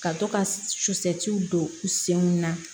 Ka to ka sucɛ don u senw na